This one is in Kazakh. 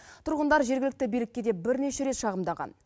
тұрғындар жергілікті билікке де бірнеше рет шағымдаған